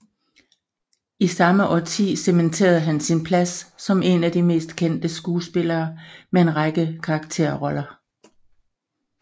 I samme årti cementerede han sin plads som en af de mest kendte skuespillere med en række karakterroller